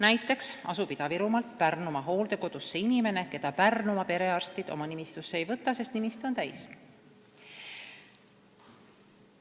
Näiteks asub Ida-Virumaalt Pärnumaa hooldekodusse inimene, keda Pärnumaa perearstid oma nimistusse ei võta, sest see on täis.